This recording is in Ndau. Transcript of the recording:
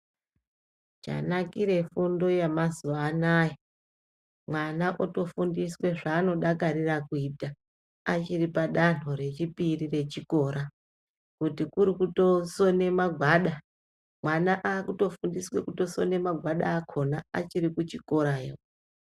Chanakira fundo yemazuva anawa vana votofundiswawo kuita zvanodakarira kuita danho rechipiri rechikora kuti kuri kutosona magwada mwana akutofundiswa kusona magwada akona achiri kuchikorayo.